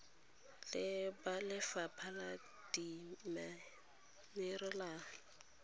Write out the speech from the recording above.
le ba lefapha la dimenerale